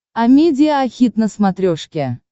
амедиа хит на смотрешке